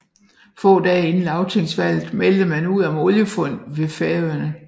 Få dage inden lagtingsvalget meldte man om oliefund ved Færøerne